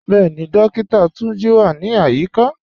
Bẹẹ̀ni, Dókìtà Túnjí wà ní ayíkà.